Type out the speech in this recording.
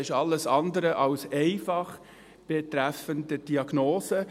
Das ist alles andere als einfach betreffend Diagnose.